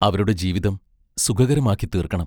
അവരുടെ ജീവിതം സുഖകരമാക്കിത്തീർക്കണം.